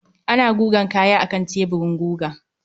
Ana gugan kaya akan teburin guga.